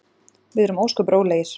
Við erum ósköp rólegir.